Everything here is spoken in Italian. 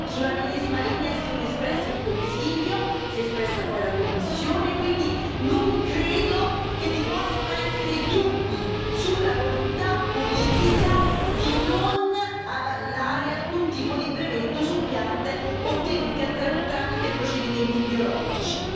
Sulla medesima linea si sono espressi il Consiglio e poi la Commissione, e quindi non credo che vi possano essere dubbi sulla volontà politica di non avallare alcun tipo di brevetto su piante ottenute tramite procedimenti biologici.